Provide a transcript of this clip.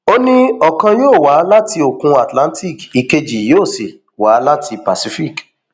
ó ní ọkan yóò wá láti òkun atlantic ìkejì yóò sì wá láti pacific